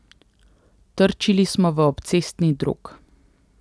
Trčili smo v obcestni drog.